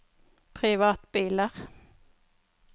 privatbiler